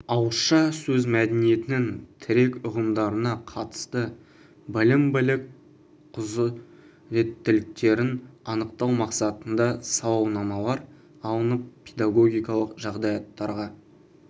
ауызша сөз мәдениетінің тірек ұғымдарына қатысты білім білік құзыреттіліктерін анықтау мақсатында сауалнамалар алынып педагогикалық жағдаяттарға